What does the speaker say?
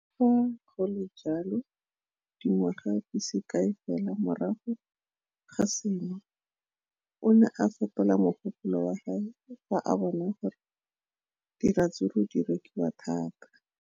Le fa go le jalo, dingwaga di se kae fela morago ga seno, o ne a fetola mogopolo wa gagwe fa a bona gore diratsuru di rekisiwa thata.